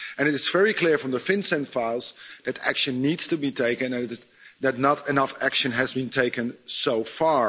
It is very clear from the FinCEN files that action needs to be taken and not enough action has been taken so far.